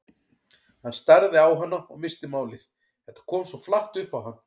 Hann starði á hana og missti málið, þetta kom svo flatt upp á hann.